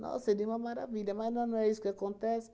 Nossa, seria uma maravilha, mas na não é isso que acontece.